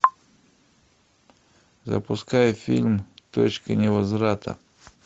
запускай фильм точка невозврата